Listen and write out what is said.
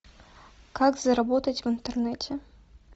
как заработать в интернете